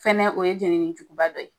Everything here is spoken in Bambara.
Fɛnɛ o ye jenini juguba dɔ ye.